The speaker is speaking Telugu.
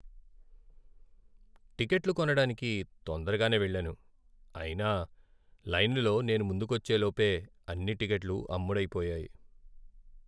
టిక్కెట్లు కొనడానికి తొందరగానే వెళ్ళాను, అయినా లైనులో నేను ముందుకొచ్చేలోపే అన్ని టిక్కెట్లు అమ్ముడైపోయాయి.